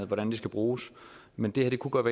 hvordan det skal bruges men det her kunne godt